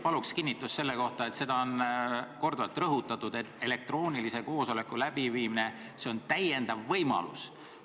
Palun kinnitust selle kohta, et seda on korduvalt rõhutatud, et elektroonilise koosoleku läbiviimine on täiendav võimalus.